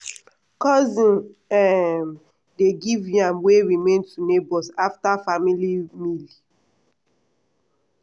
cousin um dey give yam wey remain to neighbours after family meal.